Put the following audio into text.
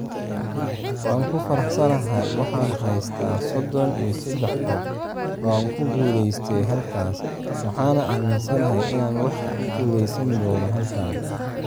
Waan ku faraxsanahay waxaan haystaa sodon iyo sedax koob oo aan ku guuleystay halkaas, waxaana aaminsanahay inaan wax ku guuleysan doono halkan.